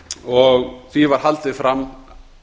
og því var haldið fram